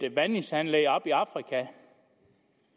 et vandingsanlæg i afrika